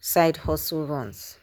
side hustle runs.